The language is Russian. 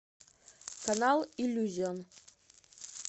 канал иллюзион